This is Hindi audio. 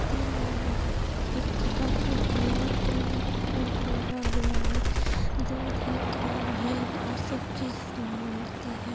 तीन आदमी खड़े हैं। एक के हाथ में हैलमेट है और बोर्ड लगा हुआ है। दूध है। क्रीम है और सब चीज यहाँ मिलती हैं।